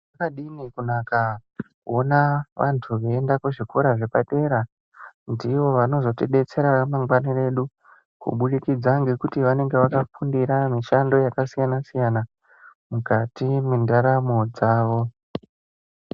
Kwakadini kunaka kuona vantu veienda kuzvikora zvepadera ndivo vanozotidetsera ramangana redu kubudikidza ngekuti vanenga vakafundira mushando yakasiyana siyana mukati mendaramo dzavo.